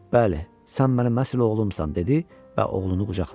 Bəli, sən mənim əsil oğlumsan, dedi və oğlunu qucaqladı.